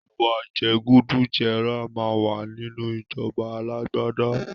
Ìwà jẹgúdújẹrá máa wà nínú ìjọba alágbádá.